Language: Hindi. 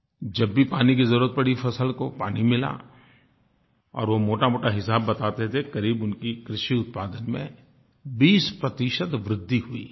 जब भी पानी की ज़रूरत पड़ी फ़सल को पानी मिला और वो मोटामोटा हिसाब बताते थे करीब उनकी कृषि उत्पादन में 20 प्रतिशत वृद्धि हुई